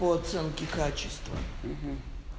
по оценке качества